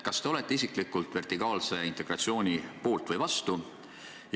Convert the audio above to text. Kas te olete isiklikult vertikaalse integratsiooni poolt või vastu?